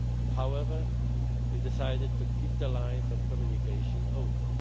Aegean Sea. However, we decided to keep the lines of communication